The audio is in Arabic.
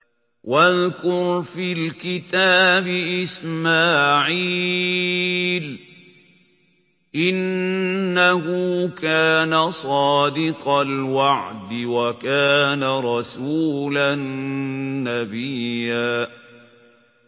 وَاذْكُرْ فِي الْكِتَابِ إِسْمَاعِيلَ ۚ إِنَّهُ كَانَ صَادِقَ الْوَعْدِ وَكَانَ رَسُولًا نَّبِيًّا